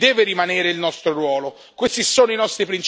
Questo è e deve rimanere il nostro ruolo.